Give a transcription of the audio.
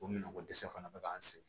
O minɛnko dɛsɛ fana bɛ k'an sɛgɛn